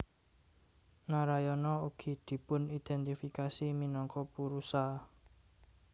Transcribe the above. Narayana ugi dipunidéntifikasi minangka Purusha